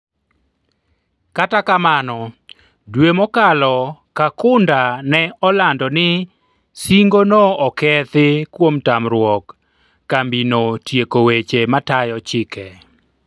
kata kamano, dwe mokalo Kakunda ne olando ni singo no okethi kuom tamruok kambina tieko weche matayo chike